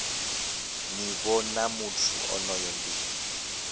nivho ya muthu onoyo ndi